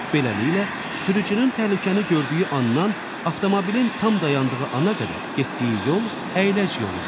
Beləliklə, sürücünün təhlükəni gördüyü anından avtomobilin tam dayandığı ana qədər getdiyi yol əyləc yoludur.